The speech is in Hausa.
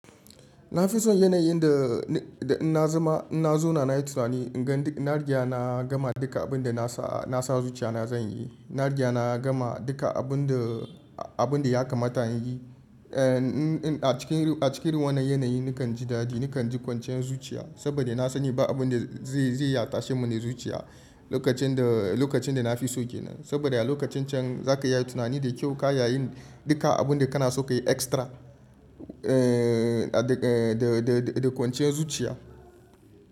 Na fi son yanayin da, da in na zama, in na zauna na yi tunani, in gan duk na riga na gama duka abin da na sa, na sa zuciya na zan yi. Na riƙe na gama duka abun da, abun da ya kamata in yi. Eh, in, in a cikin, a cikin irin wannan yanayi nakan ji dadi, nakan ji kwanciyar zuciya. Saboda na sani ba abun da zai, zai iya tashe mini zuciya lokacin da, lokacin da na fi so kenan. Saboda a lokacin can za ka yi tunani da kyau ka iya yin duka abun da kana so ka yi extra. Eh, a da, eh, da, da, da kwanciyar zuciya.